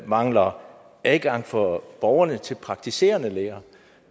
mangler adgang for borgerne til praktiserende læger